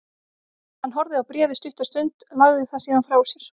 Hann horfði á bréfið stutta stund, lagði það síðan frá sér.